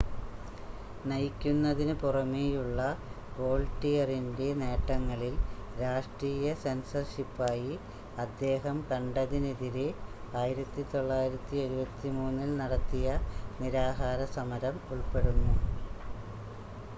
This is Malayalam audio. നയിക്കുന്നതിന് പുറമേയുള്ള വോൾട്ടിയറിൻ്റെ നേട്ടങ്ങളിൽ രാഷ്‌ട്രീയ സെൻസർഷിപ്പായി അദ്ദേഹം കണ്ടതിനെതിരെ 1973-ൽ നടത്തിയ നിരാഹാര സമരം ഉൾപ്പെടുന്നു